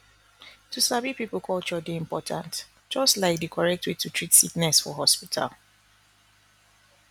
to sabi people culture dey important just like di correct way to treat sickness for hospital